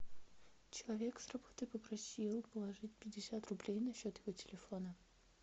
человек с работы попросил положить пятьдесят рублей на счет его телефона